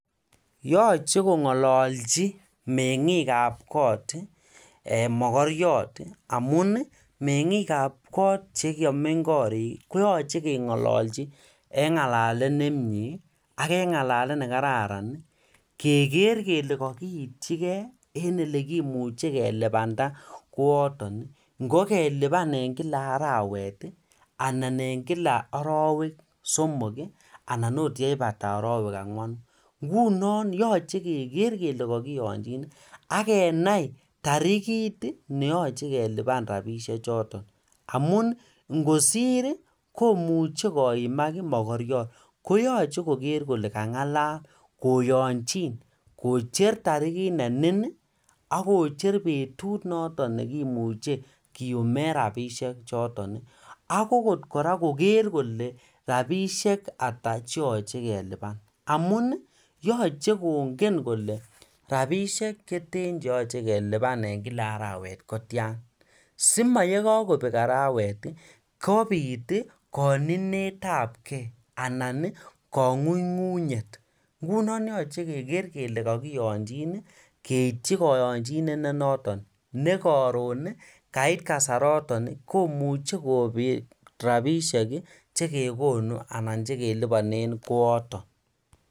Yoche kongololji mengik kab kot Ii ee mogoriot amun mengikab kot che komeny korik koyoche kengololji en ngalalet nemie aK en ngalalet nekararan kegeer kele kokoityi gei en elekimiche kelipanda kooton ngo kelipan en Kila arawet anan en Kila arowek somok anan okot yeibata arowek somoku ngunon yoche kegeer kele kokiyonji aK kenai tarikt neyoche kelipan rapisiek choton amun ingosir komuche koimak mogoriot koyoche kogeer kole ka ngalala koyonchon kojer tarikit nenin aK kojer betut noton nekimuche kiyumen rapisiek choton aK koran kogeer kole rapisiek ata che yoche kelipan amun yoche kongen kole rapisiek cheten cheyoche kelipan en Kila arawet kotyan si moyekokopek arawet kobiit koninetab gei anan kongungunyet ingunon yoche kegeer kele kokiyonjin keityi koyonjinet nenoton nekoron. Kait kasaroton komuche kobiit rapisiek chekekonun anan chelelipanen kooton